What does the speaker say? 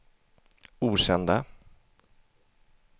okända